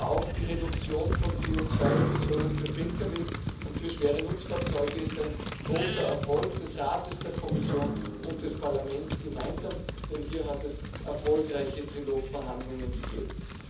Aber auch die Reduktion von CO2 Emissionen für Pkws und für schwere Nutzfahrzeuge ist ein großer Erfolg des Rates, der Kommission und des Parlaments gemeinsam, denn hier hat es erfolgreiche Trilogverhandlungen gegeben.